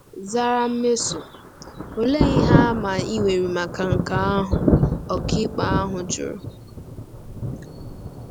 zara Nmeso. “Olee ihe àmà i nwere maka nke ahụ?” ọkàikpe ahụ jụrụ.